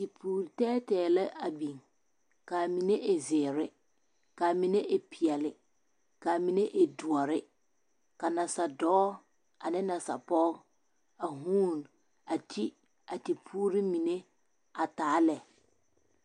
Tipuure tɛɛtɛɛ la a biŋ kaa mine e zeere kaa mine e peɛle kaa mine doɔre ka nasadɔɔ ane nasapɔge a huun a ti a ti puure mine a taa lɛ.